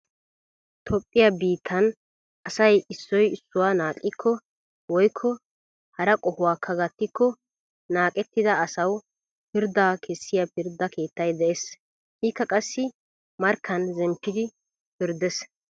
Toophphiya biittan asay issoy issuwa naaqqikko woykko hara qohuwaakka gattikko naaqettida asawu pirddaa kessiya pirdda keettay dees. Ikka qassi markkan zempidi pirddees.